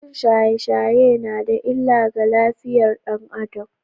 Yin shaye-shaye yana da illa ga lafiyar ɗan Adam.